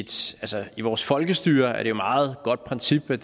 i vores folkestyre er det et meget godt princip med